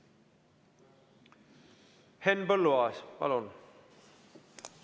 Henn Põlluaas, palun!